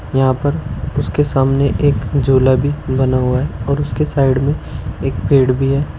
यहां पर उसके सामने एक झूला भी बना हुआ है और उसके साइड में एक पेड़ भी है।